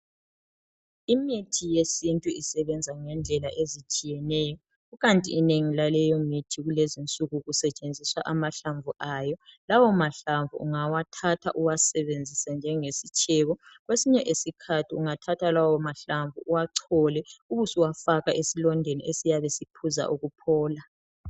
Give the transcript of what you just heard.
Imithi yesintu isebenza ngendlela ezitshiyeneyo ikanti inengi laleyo mithi kulezinsuku kusetshenziswa amahlamvu ayo. Lawo mahlamvu ungawathatha uwasebenzise njengesitshebo kwesinye isikhathi ungathatha lawomahlamvu uwachole ube ubusuwafaka esilondeni esiyabe siphuza ukuphola.